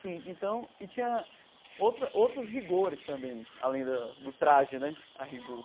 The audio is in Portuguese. Sim, então... E tinha outra outros rigores também, além da do traje né, a rigor.